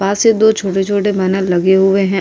पास दो छोटे-छोटे बैनर लगे हुए हैं।